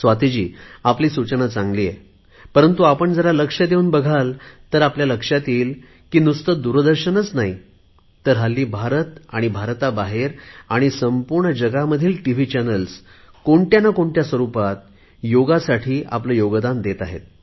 स्वातीजी आपली सूचना चांगली आहे परंतु आपण जरा लक्ष देऊन बघाल तर आपल्या लक्षात येईल नुसते दूरदर्शन नाही तर हल्ली भारत आणि भारताबाहेर आणि संपूर्ण जगात टिव्ही चॅनेल्स कोणत्या ना कोणत्या स्वरुपात योगाला आपले योगदान देत आहेत